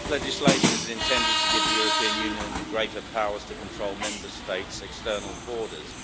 legislation is intended to give the European Union greater powers to control Member States' external borders.